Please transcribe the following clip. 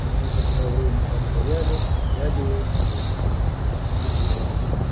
мы некоторое время постояли глядя ей вслед